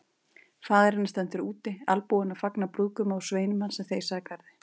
Faðir hennar stendur úti albúinn að fagna brúðguma og sveinum hans sem þeysa að garði.